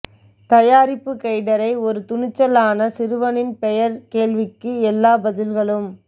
தயாரிப்பு கெய்டரை ஒரு துணிச்சலான சிறுவனின் பெயர் கேள்விக்கு எல்லா பதில்களும்